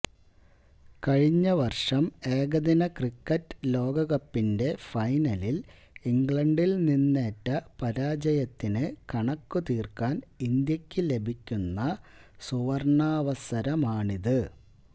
കഴിഞ്ഞ വര്ഷം ഏകദിന ക്രിക്കറ്റ് ലോകകപ്പിന്റെ ഫൈനലില് ഇംഗ്ലണ്ടില് നിന്നേറ്റ പരാജയത്തിന് കണക്കു തീര്ക്കാന് ഇന്ത്യക്ക് ലഭിക്കുന്ന സുവര്ണാവസരമാണിത്